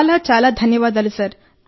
చాలా చాలా ధన్యవాదాలు సార్